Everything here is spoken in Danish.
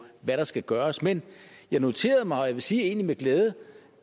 hvad der skal gøres men jeg noterede mig og jeg vil sige egentlig med glæde